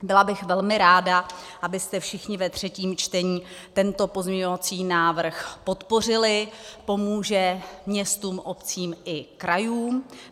Byla bych velmi ráda, abyste všichni ve třetím čtení tento pozměňovací návrh podpořili, pomůže městům, obcím i krajům.